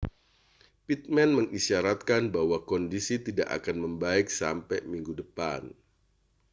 pittman mengisyaratkan bahwa kondisi tidak akan membaik sampai minggu depan